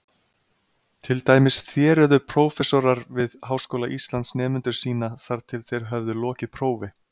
Til dæmis þéruðu prófessorar við Háskóla Íslands nemendur sína þar til þeir höfðu lokið prófi.